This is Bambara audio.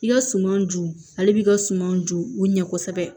I ka suman ju ale b'i ka sumanw dun u ɲɛ kosɛbɛ